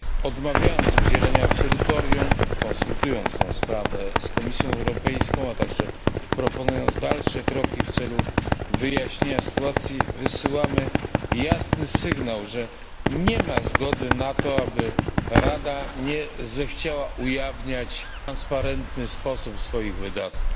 Odmawiając udzielenia absolutorium, konsultując tę sprawę z Komisją Europejską, a także proponując dalsze kroki w celu wyjaśnienia sytuacji, wysyłamy jasny sygnał, że nie ma zgody na to, aby Rada nie zechciała ujawniać w przejrzysty sposób swoich wydatków.